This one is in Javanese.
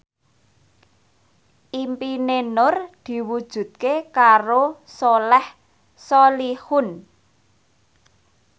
impine Nur diwujudke karo Soleh Solihun